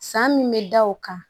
San min bɛ da o kan